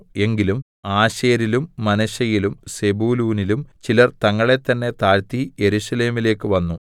എങ്കിലും ആശേരിലും മനശ്ശെയിലും സെബൂലൂനിലും ചിലർ തങ്ങളെത്തന്നെ താഴ്ത്തി യെരൂശലേമിലേക്ക് വന്നു